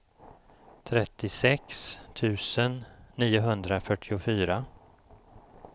trettiosex tusen niohundrafyrtiofyra